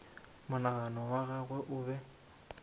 monagano wa gagwe o be